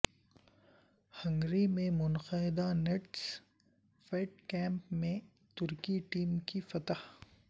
Hungary میں منعقدہ tennis Fed Cup میں ترکی ٹیم کی فتح